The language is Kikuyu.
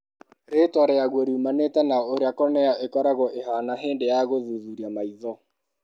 Rĩĩtwa rĩaguo riumanĩte na ũrĩa cornea ĩkoragwo ĩhaana hĩndĩ ya gũthuthuria maitho.